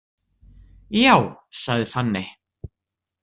Já, sagði Fanney.